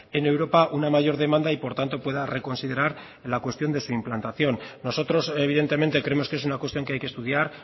en europa una mayor demanda y por tanto pueda reconsiderar la cuestión de su implantación nosotros evidentemente creemos que es una cuestión que hay que estudiar